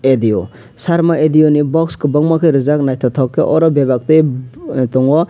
adio sarma adio ni box kobangma rijak naitotok ke oro bebak ke tongo.